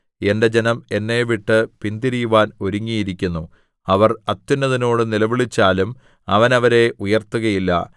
എന്റെ ജനം എന്നെ വിട്ട് പിന്തിരിയുവാൻ ഒരുങ്ങിയിരിക്കുന്നു അവർ അത്യുന്നതനോട് നിലവിളിച്ചാലും അവൻ അവരെ ഉയർത്തുകയില്ല